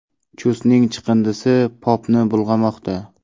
Chustning chiqindisi Popni bulg‘amoqda.